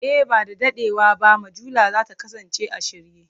E, ba da daɗewa ba mujallar za ta kasance a shirye.